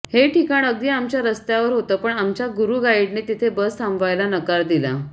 हे ठिकाण अगदी आमच्या रस्त्यावर होतं पण आमच्या गुरू गाईडने तिथे बस थांबवायला नकार दिला